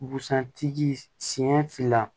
Busan tigi siɲɛ fila